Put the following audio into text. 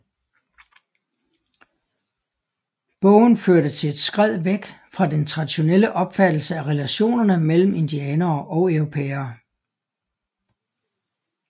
Bogen førte til et skred væk fra den traditionelle opfattelse af relationerne mellem indianere og europæere